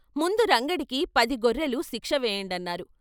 ముందు రంగడికి పది గొర్రెలు శిక్ష వేయండన్నారు.